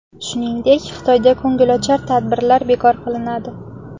Shuningdek, Xitoyda ko‘ngilochar tadbirlar bekor qilinadi.